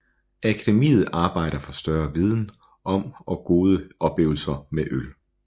Akademiet arbejder for større viden om og gode oplevelser med øl